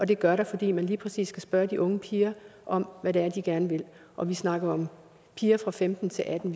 det gør der fordi man lige præcis skal spørge de unge piger om hvad det er de gerne vil og vi snakker om piger fra femten til atten